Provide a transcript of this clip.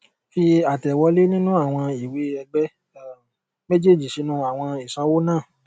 fi àtẹwọlé nínú àwọn ìwée ẹgbẹ um méjèèjì sínú àwọn ìsanwó naa